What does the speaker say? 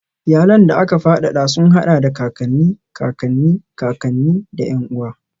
Iyalan da aka fadada sun haɗa da kakanni, kakanni, kakanni, da ƴan uwa.